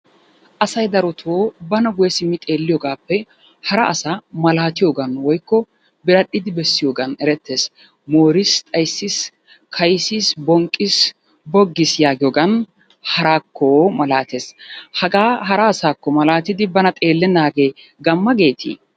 Asay darotoo bana guyye simmi xeelliyogaappe hara asaa malaatiyogan woykko biradhdhidi bessiyogan erettees. Mooriis, xayssiis, kaysiis, bonqqiis, boggiis yaagiyogan haraakko malaatees. Hagaa hara asaakko malaatidi bana xeellennaagee gamma geetii?